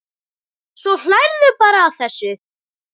Svo hlærðu bara að þessu!